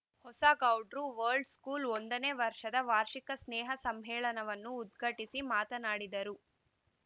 Hosagoudra world ಸ್ಕೂಲ್‍ನ ಒಂದನೇ ವರ್ಷದ ವಾರ್ಷಿಕ ಸ್ನೇಹ ಸಮ್ಮೇಳನವನ್ನು ಉದ್ಘಾಟಿಸಿ ಮಾತನಾಡಿದರು